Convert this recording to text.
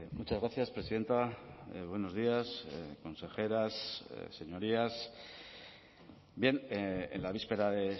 muchas gracias presidenta buenos días consejeras señorías bien en la víspera de